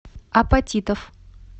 апатитов